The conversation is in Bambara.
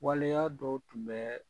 Waleyaa dɔ tun bɛ